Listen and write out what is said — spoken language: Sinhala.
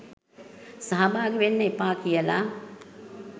සහභාගි වෙන්න එපා කියලා